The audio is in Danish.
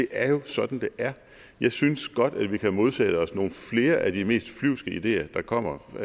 er sådan det er jeg synes godt at vi kan modsætte os nogle flere af de mest flyvske ideer der kommer